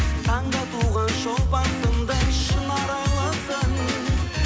таңда туған шолпан сыңды шын арайлысың